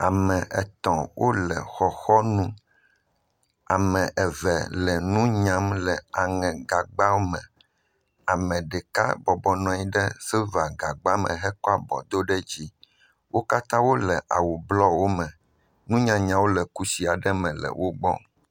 Ame etɔ wole xɔxɔ nu. Ame eve le nu nya nu nunyam le aŋɛ gagbawo me. Ame ɖeka nɔ anyi ɖe silva gagba me kɔ abɔ do ɖe dzi. Wo kata wole awu blu wome. Nunyanya aɖewo le kusi aɖewo me le wogbɔ.